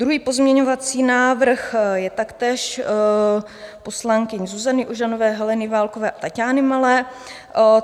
Druhý pozměňovací návrh je taktéž poslankyň Zuzany Ožanové, Heleny Válkové a Taťány Malé.